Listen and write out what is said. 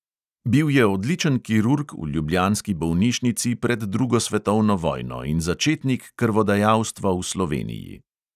Bil je odličen kirurg v ljubljanski bolnišnici pred drugo svetovno vojno in začetnik krvodajalstva v sloveniji.